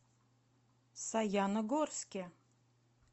саяногорске